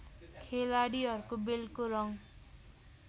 खेलाडीहरुको बेल्टको रङ